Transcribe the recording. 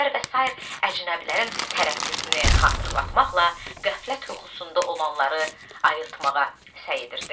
Bəxtəvər və sair əcnəbilərin tərəqqisini xatırlatmaqla qəflət yuxusunda olanları ayıltmağa səy edirdi.